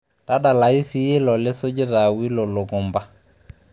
tadsalayu siiyie ilo lisujita awilo longomba